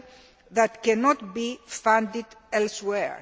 nature that cannot be funded elsewhere.